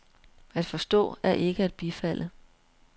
At forstå er ikke at bifalde.